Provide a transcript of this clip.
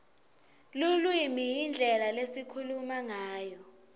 lulwimi yindlela lesikhuluma ngayo